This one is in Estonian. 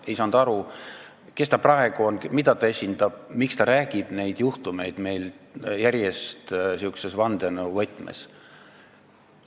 Ei saanud aru, kes ta praegu on, mida ta esindab, miks ta räägib nendest juhtumitest järjest niisuguses vandenõuvõtmes.